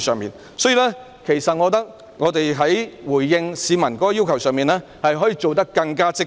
因此，我認為在回應市民的要求時，當局可以做得更加積極。